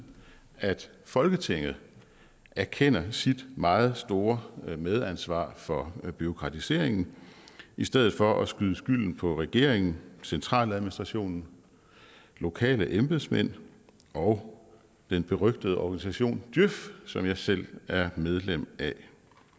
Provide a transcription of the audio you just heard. at folketinget erkender sit meget store medansvar for bureaukratiseringen i stedet for at skyde skylden på regeringen centraladministrationen lokale embedsmænd og den berygtede organisation djøf som jeg selv er medlem af